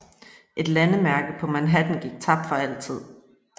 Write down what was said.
Et landemærke på Manhattan gik tabt for altid